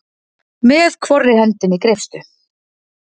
Með hvorri hendinni greipstu?